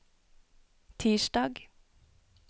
tirsdag